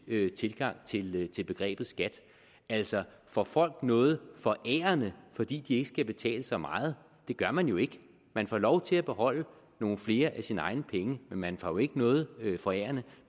tilgang til til begrebet skat altså får folk noget forærende fordi de ikke skal betale så meget det gør man jo ikke man får lov til at beholde nogle flere af sine egne penge men man får ikke noget forærende